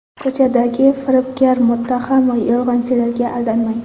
Ko‘chadagi firibgar, muttaham, yolg‘onchilarga aldanmang .